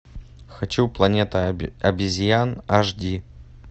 хочу планета обезьян аш ди